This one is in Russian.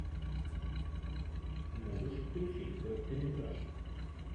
можешь включить короткометражку